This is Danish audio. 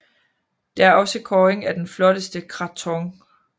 Der er også kåring af den flotteste krathong